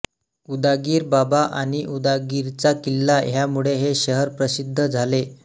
उदागीर बाबा आणि उदगीरचा किल्ला ह्यामुळे हे शहर प्रसिद्ध झाले